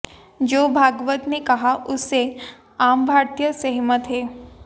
जो भागवत ने कहा उससे आम भारतीय सहमत है